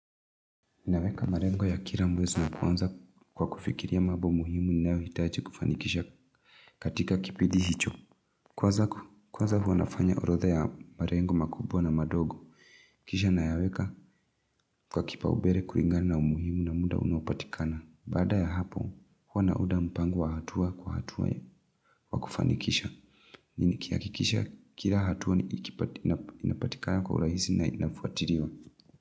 Ninaweka marengo ya kila mwezi wa kwanza kwa kufikiria mambo muhimu inayohitaji kufanikisha katika kipidi hicho Kwanza huwa na fanya orodha ya marengo makubwa na madogo kisha nayaweka kwa kipaumbere kulingana na umuhimu na muda unopatikana Baada ya hapo hua naunda mpango wa hatuwa kwa hatuwa kwa kufanikisha nini kihakikisha kira hatuwa ni inapatikana kwa urahisi na inafuatiliwa.